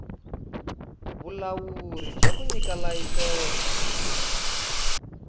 vulawuri bya ku nyika tilayisense